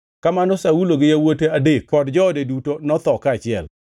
Kamano, Saulo gi yawuote adek kod joode duto notho kaachiel.